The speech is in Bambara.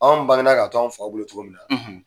Anw bangenna ka to anw faw bolo cogo min na